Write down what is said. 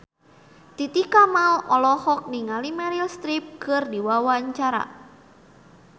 Titi Kamal olohok ningali Meryl Streep keur diwawancara